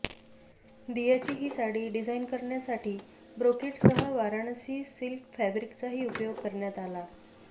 दियाची ही साडी डिझाइन करण्यासाठी ब्रोकेडसह वाराणसी सिल्क फॅब्रिकचाही उपयोग करण्यात आलाय